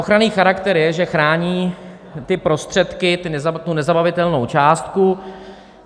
Ochranný charakter je, že chrání ty prostředky, tu nezabavitelnou částku.